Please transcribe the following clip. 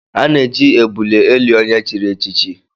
A na-eji ebule eli onye chiri echichi